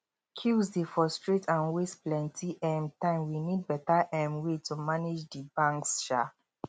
queues dey frustrate and waste plenty um time we need beta um way to manage di banks um